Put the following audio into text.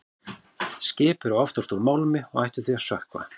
Skip eru oftast úr málmi og ættu því að sökkva.